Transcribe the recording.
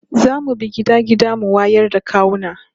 Za mu bi gida gida mu wayar da kawuna